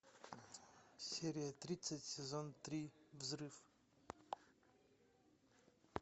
серия тридцать сезон три взрыв